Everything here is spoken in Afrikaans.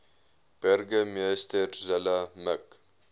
burgemeester zille mik